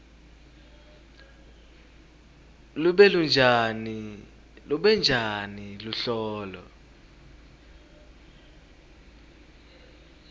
lube njani luhlolo